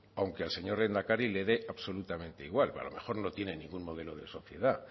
aunque al señor lehendakari le dé absolutamente igual a lo mejor no tiene ningún modelo de sociedad